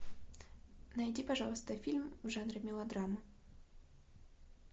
найди пожалуйста фильм в жанре мелодрама